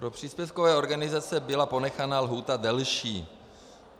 Pro příspěvkové organizace byla ponechána lhůta delší.